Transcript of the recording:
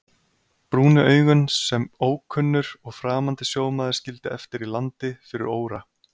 Brúnu augun sem ókunnur og framandi sjómaður skildi eftir í landi fyrir óra